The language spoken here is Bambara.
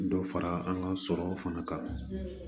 Dɔ fara an ka sɔrɔ fana kan